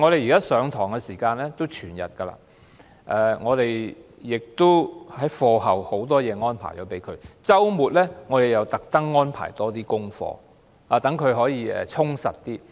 現時學生就讀全日制學校，課後的日程排得密密麻麻，周末又刻意被安排更多功課，讓他們更加充實。